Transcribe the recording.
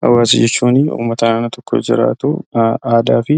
Hawwaasaa jechuun uummata naannoo tokko jiraatu, aadaa fi